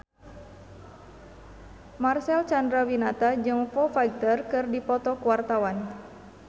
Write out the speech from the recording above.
Marcel Chandrawinata jeung Foo Fighter keur dipoto ku wartawan